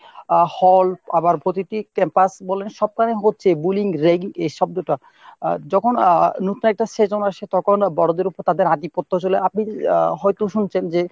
আহ hall আবার প্রতিটি campus বলেন সব খানে হচ্ছে bulling ragging এ শব্দটা। যখন আহ নূতন একটা session আসে তখন বড়োদের ওপর তাদের আধিপত্য চলে। আপনি হয়তো শুনছেন যে